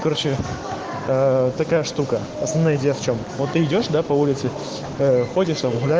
короче такая штука основная идея в чем вот ты идёшь до по улице ходишь